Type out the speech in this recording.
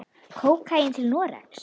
. kókaín til Noregs?